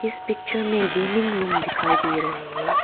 इस पिक्चर में gaming room दिखाई दे रहे हैं।